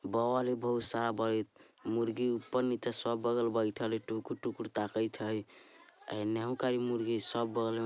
बल्ब हई बहुत सारा बरइत मुर्ग ऊपर नीचे सब बगल बेथल हई टुकुर-टुकर ताकत हई इन्नहू खाली मुर्गी सब बगल में --